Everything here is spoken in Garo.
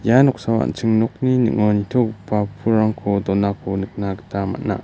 ia noksao an·ching nokni ning·o nitogipa pulrangko donako nikna gita man·a.